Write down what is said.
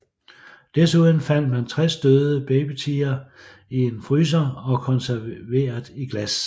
Desuden fandt man 60 døde babytigre i en fryser og konserveret i glas